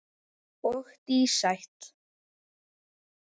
Og dísætt.